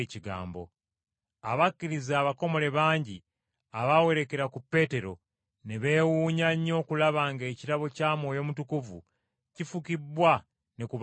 Abakkiriza abakomole bangi abaawerekera ku Peetero ne beewuunya nnyo okulaba ng’ekirabo kya Mwoyo Mutukuvu kifukibbwa ne ku baamawanga.